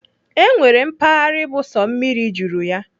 E nwere mpaghara bụ sọ mmiri juru ya.